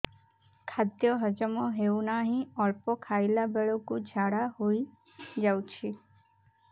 ଖାଦ୍ୟ ହଜମ ହେଉ ନାହିଁ ଅଳ୍ପ ଖାଇଲା ବେଳକୁ ଝାଡ଼ା ହୋଇଯାଉଛି